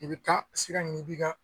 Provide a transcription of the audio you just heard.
I bɛ taa sira i b'i ka